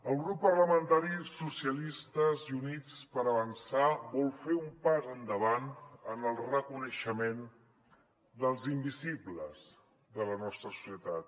el grup parlamentari socialistes i units per avançar vol fer un pas endavant en el reconeixement dels invisibles de la nostra societat